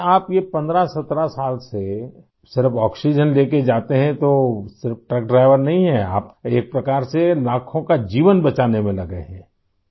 اچھا! آپ یہ 15 17 سال سے صرف آکسیجن لے کر جات ہیں ، پھر آپ صرف ٹرک ڈرائیور نہیں ہیں ! آپ ایک طرح سے لاکھوں جانیں بچانے میں مصروف ہیں